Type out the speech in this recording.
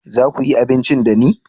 za ku yi abinci da ni?